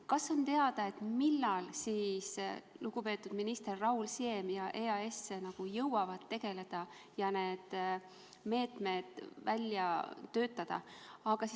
Kas on teada, millal siis lugupeetud minister Raul Siem ja EAS nagu jõuavad asjaga tegeleda ja need meetmed välja töötada?